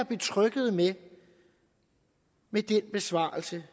betryggede ved med den besvarelse